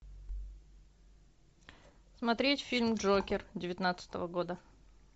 смотреть фильм джокер девятнадцатого года